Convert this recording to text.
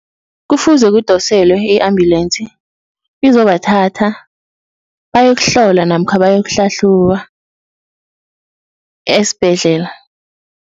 Kufuze kudoselwa i-ambulance izobathatha bayokuhlolwa namkha bayokuhlahluba esibhedlela.